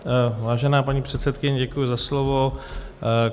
Vážená paní předsedkyně, děkuji za slovo.